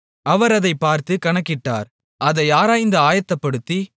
அவர் அதைப் பார்த்துக் கணக்கிட்டார் அதை ஆராய்ந்து ஆயத்தப்படுத்தி